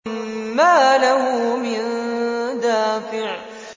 مَّا لَهُ مِن دَافِعٍ